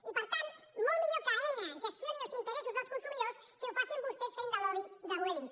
i per tant molt millor que aena gestioni els interessos dels consumidors que ho facin vostès fent de lobby de vueling